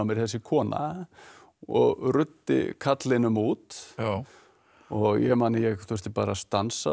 þessi kona og ruddi karlinum út og ég man að ég þurfti að stansa